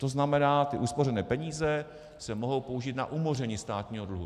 To znamená, ty uspořené peníze se mohou použít na umoření státního dluhu.